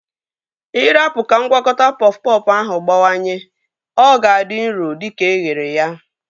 Ị rapu ka ngwakọta pọf pọfụ ahụ gbawanye, ọ ga-adị nro dịka eghere ya